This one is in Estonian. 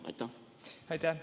Aitäh!